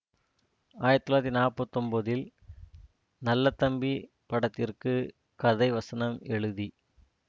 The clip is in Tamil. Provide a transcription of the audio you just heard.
ஆயிரத்தி தொள்ளாயிரத்தி நாற்பத்தி ஒன்பதில் நல்லதம்பி படத்திற்கு கதைவசனம் எழுதி